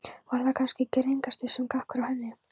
Var það kannski girðingarstaur sem gekk frá henni.